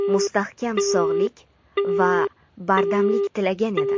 mustahkam sog‘lik va bardamlik tilagan edi.